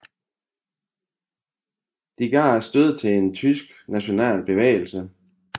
De gav stødet til en tysk national bevægelse